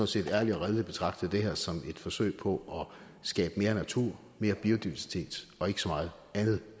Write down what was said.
set ærligt og redeligt betragter det her som et forsøg på at skabe mere natur mere biodiversitet og ikke så meget andet